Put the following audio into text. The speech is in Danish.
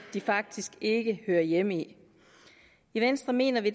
de faktisk ikke hører hjemme i venstre mener vi